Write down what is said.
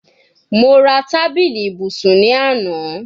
Mo ra tabili ibusun ni ana